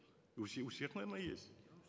у всех наверно есть